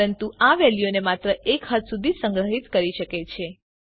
પરંતુ આ વેલ્યુઓને માત્ર એક હદ સુધી જ સંગ્રહીત કરી શકે છે